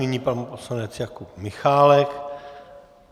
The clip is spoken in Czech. Nyní pan poslanec Jakub Michálek.